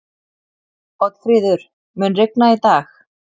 Oddfríður, mun rigna í dag?